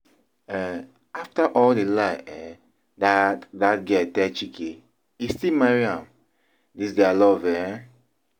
um After all the lie um that that girl tell Chike, e still marry am, dis dia love eh